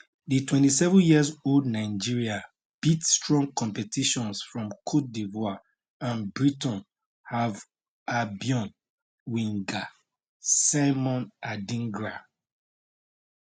di 27 years old nigeria beat strong competitions from cote divoire and brighton hove albion winger simon adingra